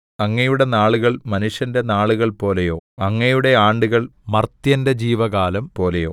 അങ്ങയുടെ നാളുകൾ മനുഷ്യന്റെ നാളുകൾ പോലെയോ അങ്ങയുടെ ആണ്ടുകൾ മർത്യന്റെ ജീവകാലം പോലെയോ